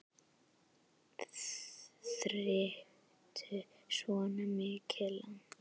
Þarftu svona mikið land?